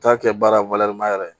Taa kɛ baara yɛrɛ